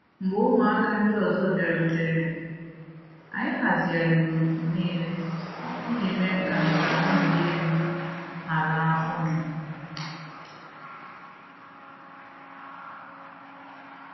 Mgbe ụmụaka ndi ọzọ bịarutere, anyị hazigharịrị òtù niile iji mee ka nka nwuli elu hara ọnụ.